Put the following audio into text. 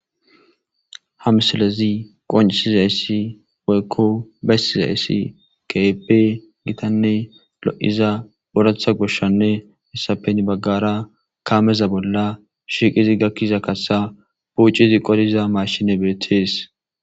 hamsalezi qoncisiza yssi woykko bestiza yssi keepe gitanne lo7iza boratha goshshanne hessapen baggara kaameza bolla shiqizi gakkiza kassa puucizi qodiza mashine beethees